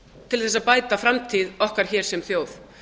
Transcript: til þess að bæta framtíð okkar hér sem þjóðar